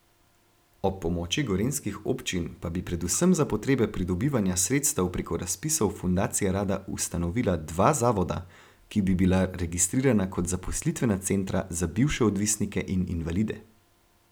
Ob pomoči gorenjskih občin pa bi predvsem za potrebe pridobivanja sredstev preko razpisov fundacija rada ustanovila dva zavoda, ki bi bila registrirana kot zaposlitvena centra za bivše odvisnike in invalide.